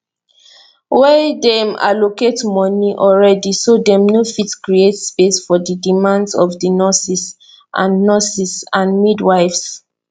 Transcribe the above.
wia dem allocate moni already so dem no fit create space for di demands of di nurses and nurses and midwives